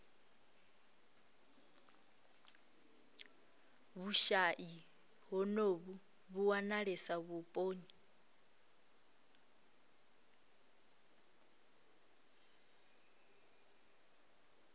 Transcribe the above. vhushayi honovhu vhu wanalesa vhuponi